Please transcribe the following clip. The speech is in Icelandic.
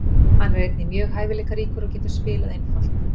Hann er einnig mjög hæfileikaríkur og getur spilað einfalt.